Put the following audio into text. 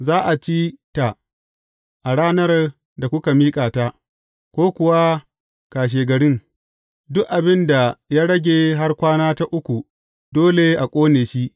Za a ci ta a ranar da kuka miƙa ta, ko kuwa a kashegarin; duk abin da ya rage har kwana ta uku dole a ƙone shi.